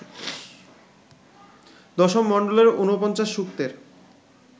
১০ম মণ্ডলের ৪৯ সূক্তের